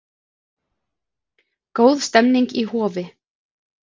Góð stemning í Hofi